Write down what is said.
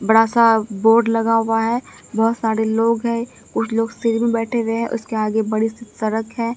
बड़ा सा बोर्ड लगा हुआ है बहोत सारे लोग हैं कुछ लोग बैठे हुए हैं उसके आगे बड़ी सी सड़क है।